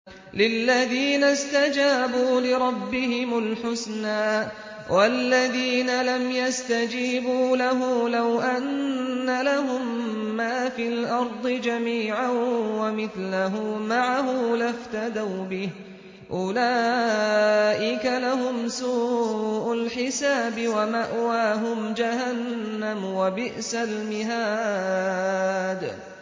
لِلَّذِينَ اسْتَجَابُوا لِرَبِّهِمُ الْحُسْنَىٰ ۚ وَالَّذِينَ لَمْ يَسْتَجِيبُوا لَهُ لَوْ أَنَّ لَهُم مَّا فِي الْأَرْضِ جَمِيعًا وَمِثْلَهُ مَعَهُ لَافْتَدَوْا بِهِ ۚ أُولَٰئِكَ لَهُمْ سُوءُ الْحِسَابِ وَمَأْوَاهُمْ جَهَنَّمُ ۖ وَبِئْسَ الْمِهَادُ